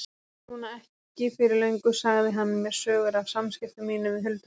Núna ekki fyrir löngu sagði hann mér sögur af samskiptum sínum við huldufólkið.